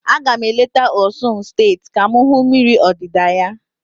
A ga m eleta Osun steeti ka m hụ mmiri odida ya.